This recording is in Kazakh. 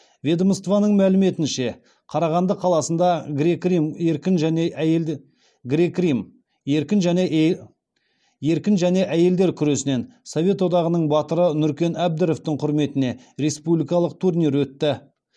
ведомстваның мәліметінше қарағанды қаласында грек рим еркін және әйелдер күресінен совет одағының батыры нүркен әбдіровтың құрметіне республикалық турнир өтті